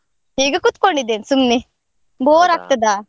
ಈಗ ಕೂತ್ಕೊಂಡಿದ್ದೇನೆ ಸುಮ್ನೆ, bore ಆಗ್ತದ.